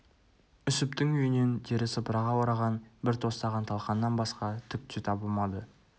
үсіптің үйінен тері сыпыраға ораған бір тостаған талқаннан басқа түк те табылмады